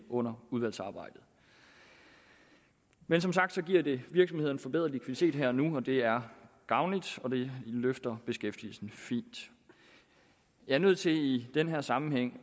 under udvalgsarbejdet men som sagt giver det virksomhederne forbedret likviditet her og nu og det er gavnligt og det løfter beskæftigelsen fint jeg er nødt til i den her sammenhæng